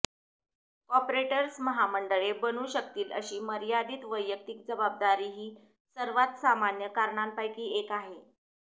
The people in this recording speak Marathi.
कॉर्पोरेटस् महामंडळे बनू शकतील अशी मर्यादित वैयक्तिक जबाबदारी ही सर्वात सामान्य कारणांपैकी एक आहे